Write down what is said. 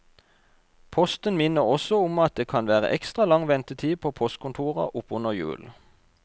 Posten minner også om at det kan vere ekstra lang ventetid på postkontora oppunder jul.